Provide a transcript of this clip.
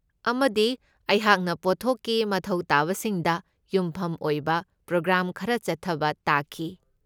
ꯑꯃꯗꯤ ꯑꯩꯍꯥꯛꯅ ꯄꯣꯠꯊꯣꯛꯀꯤ ꯃꯊꯧ ꯇꯥꯕꯁꯤꯡꯗ ꯌꯨꯝꯐꯝ ꯑꯣꯏꯕ ꯄ꯭ꯔꯣꯒ꯭ꯔꯥꯝ ꯈꯔ ꯆꯠꯊꯕ ꯇꯥꯈꯤ꯫